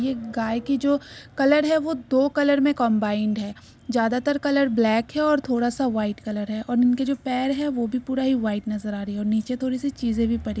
ये गाय की जो कलर है वो दो कलर में कंबाइंड है। ज्यादातर कलर ब्लैक है और थोड़ा सा व्हाइट कलर है और इनके जो पैर है वो भी पूरा ही व्हाइट नजर आ रही हैं और नीचे थोड़ी सी चीजें भी पड़ी --